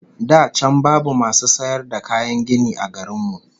Da can babu masu sayar da kayan gini a garin mu